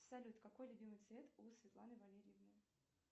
салют какой любимый цвет у светланы валерьевны